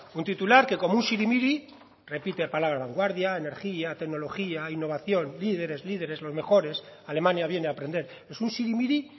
un titular que como un sirimiri repite palabra vanguardia energía tecnología innovación líderes líderes los mejores alemania viene a aprender es un sirimiri